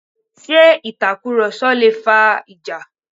Ṣé itakuroso lé fà ìjà?